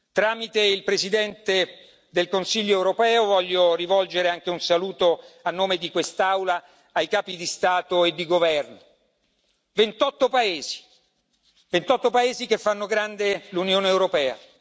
Tramite il Presidente del Consiglio europeo, voglio rivolgere anche un saluto a nome di quest'Aula ai capi di Stato e di governo 28 paesi che fanno grande l'Unione europea.